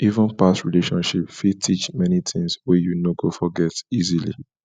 even past relationship fit teach many tings wey you no go forget easily